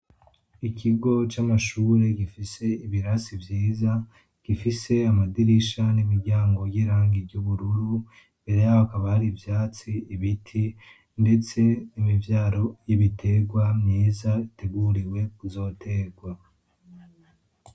ikigo camashuri gifise ibirasi vyiza gifise amadirisha nimiryango yirangi ryubururu mbere yaho hakaba hari ivyatsi ibiti ndetse nimivyaro y'ibitegwa myiza iteguriwe kuzotegwa